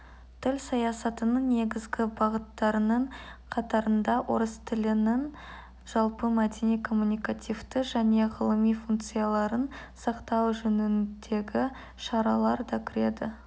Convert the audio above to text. тіл саясатының негізгі бағыттарының қатарында орыс тілінің жалпы мәдени коммуникативті және ғылыми функцияларын сақтау жөніндегі шаралар да кіреді